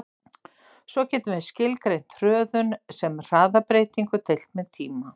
Svo getum við skilgreint hröðun sem hraðabreytingu deilt með tíma.